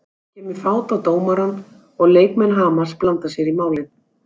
Það kemur fát á dómarann og leikmenn Hamars blanda sér í málið.